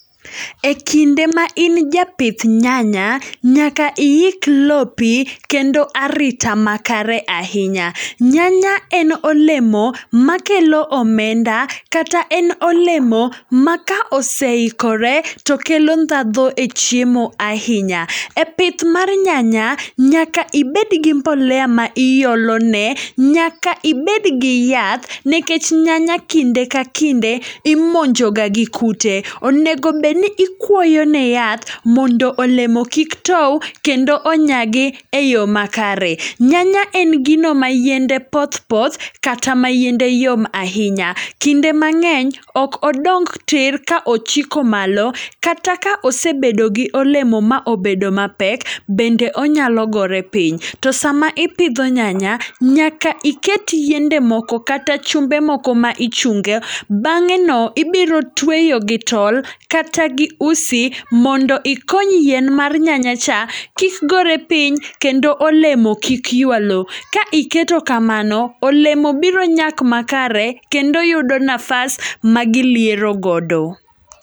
E kinde ma in japith nyanya, nyaka iik lopi kendo arita ma kare ahinya. Nyanya en olemo ma kelo omenda, kata en olemo ma ka oseikore, to kelo ndhadho e chiemo ahinya. E pith mar nyanya, nyaka ibed gi mbolea ma iolone. Nyaka ibed gi yath, nekech nyanya kinde ka kinde imonjoga gi kute. Onegobeni ikuoyo ne yath, mondo olemo kik tow, kendo onyagi e yo makare. Nyanya en gino ma yiende poth poth, kata ma yiende yom ahinya. Kinde mang'eny, ok odong tir ka ochiko malo. Kata ka osebedo gi olemo ma obed mapek, bende onyalo gore piny. To sama ipidho nyanya, nyaka iket yiende moko kata chumbe moko ma ichunge. Bang'e no ibiro tweyo gi tol, kata gi usi, mondo ikony yien mar nyanya cha kik gore piny kendo olemo kik ywa lo. Ka iketo kamano, olemo biro nyak makare, kendo yudo nafas ma giliero godo.